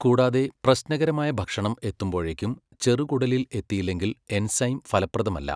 കൂടാതെ, പ്രശ്നകരമായ ഭക്ഷണം എത്തുമ്പോഴേക്കും ചെറുകുടലിൽ എത്തിയില്ലെങ്കിൽ എൻസൈം ഫലപ്രദമല്ല.